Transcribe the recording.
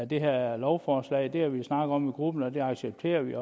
det her lovforslag det har vi snakket om i gruppen og det accepterer vi